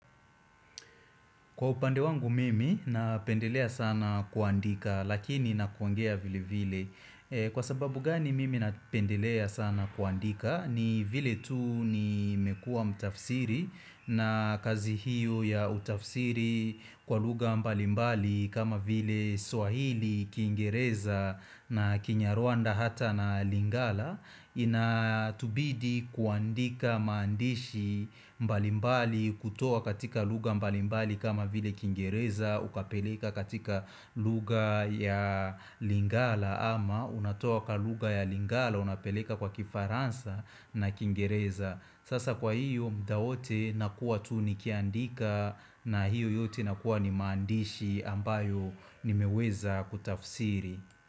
Kwa upande wangu mimi napendelea sana kuandika lakini na kuongea vile vile. Kwa sababu gani mimi napendelea sana kuandika ni vile tu nimekua mtafsiri na kazi hiyo ya utafsiri kwa lugha mbalimbali kama vile Swahili, kingereza na Kinyarwanda hata na Lingala. Inatubidi kuandika maandishi mbalimbali kutoa katika lugha mbalimbali kama vile kingereza Ukapeleka katika lugha ya lingala ama unatoa katika lugha ya lingala Unapeleka kwa kifaransa na kingereza Sasa kwa hiyo muda wote nakuwa tu nikiandika na hiyo yote inakuwa ni maandishi ambayo nimeweza kutafsiri.